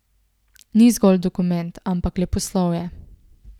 Ni zgolj dokument, ampak leposlovje.